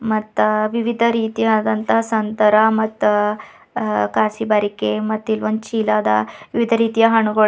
ಮತ್ತ ವಿವಿಧ ರೀತಿಯಾದಂತಹ ಸಂತರ ಮತ್ತ ಅ ಕಸಬರಿಕೆ ಮತ್ ಇಲ್ ಒಂದು ಚೀಲ ಅದ ವಿವಿಧ ರೀತಿಯ ಹಣ್ಣುಗಳು--